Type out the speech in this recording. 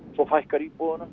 svo fækkar íbúunum